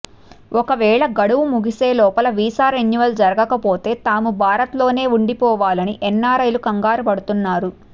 ఒకవేళ గడువు ముగిసేలోగా వీసా రెన్యువల్ జరగకపోతే తాము భారత్లోనే ఉండిపోవాలని ఎన్ఆర్ఐలు కంగారు పడుతున్నారు